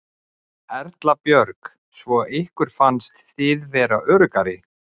Erla Björg: Svo ykkur fannst þið vera öruggar?